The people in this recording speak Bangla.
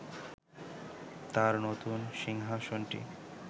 তাঁর নতুন সিংহাসনটি